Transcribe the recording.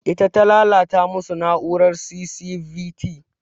Ita ta lalata masu na'urar C.C.V.T